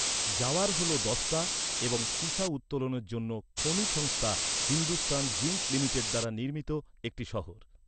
জাওয়ার হল দস্তা এবং সীসা উত্তোলনের জন্য খনি সংস্থা হিন্দুস্তান জিঙ্ক লিমিটেড দ্বারা নির্মিত একটি শহর।